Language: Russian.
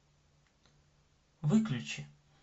выключи